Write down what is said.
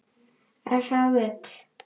Ef það vill.